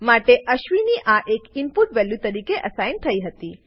માટે અશ્વિની આ એક ઈનપુટ વેલ્યુ તરીકે અસાઇન થઇ હતી